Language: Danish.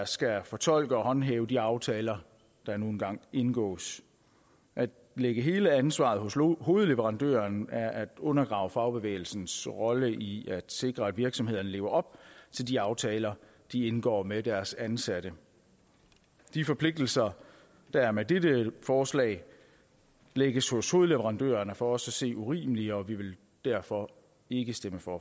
skal fortolke og håndhæve de aftaler der nu engang indgås at lægge hele ansvaret hos hovedleverandøren er at undergrave fagbevægelsens rolle i at sikre at virksomhederne lever op til de aftaler de indgår med deres ansatte de forpligtelser der med dette forslag lægges hos hovedleverandøren er for os at se urimelige og vi vil derfor ikke stemme for